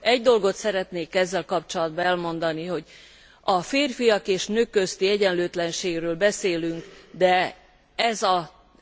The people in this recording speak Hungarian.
Egy dolgot szeretnék ezzel kapcsolatban elmondani, hogy a férfiak és nők közti egyenlőtlenségről beszélünk, de